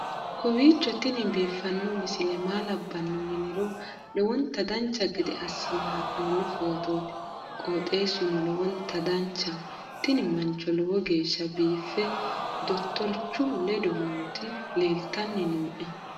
kowiicho tini biiffanno misile maa labbanno yiniro lowonta dancha gede assine haa'noonni foototi qoxeessuno lowonta danachaho. tini mancho lowo geeshsha biife dottorichu ledo nooti leeltanni nooe